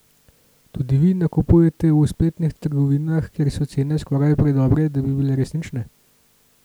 Tudi vi nakupujete v spletnih trgovinah, kjer so cene skoraj predobre, da bi bile resnične?